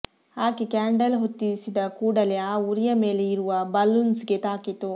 ಆಕೆ ಕ್ಯಾಂಡಲ್ ಹೊತ್ತಿಸಿದ ಕೂಡಲೆ ಆ ಉರಿಯ ಮೇಲೇ ಇರುವ ಬಲೂನ್ಸ್ಗೆ ತಾಕಿತು